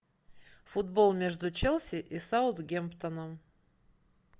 футбол между челси и саутгемптоном